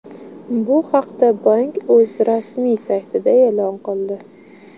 Bu haqda bank o‘z rasmiy saytida e’lon qildi .